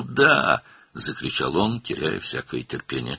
Hara? – deyə o, bütün səbirini itirərək qışqırdı.